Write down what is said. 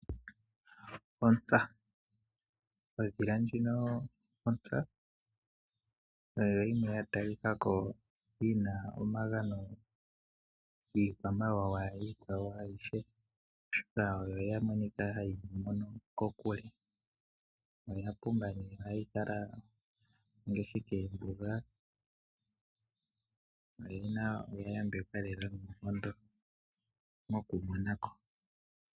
Ontsa. Ondhila ndjino ontsa oyo yimwe ya talikako yina omagano kiikwamawawa iikwawo ayihe, oshoka oyamonika ha yi mono kokule. Oya pumba no ha yi kala ngaashi kombuga. Oya yambekwa lela noonkondo mokumonako.